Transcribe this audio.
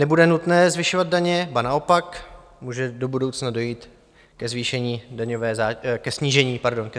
Nebude nutné zvyšovat daně, ba naopak, může do budoucna dojít ke snížení daňové zátěže, pokud EET zachováme.